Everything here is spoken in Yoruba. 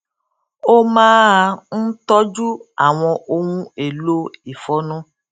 ó máa ń tọjú àwọn ohun èlò ìfọnu